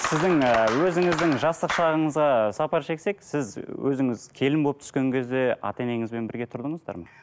сіздің ыыы өзіңіздің жастық шағыңызға сапар шексек сіз өзіңіз келін болып түскен кезде ата енеңізбен бірге тұрдыңыздар ма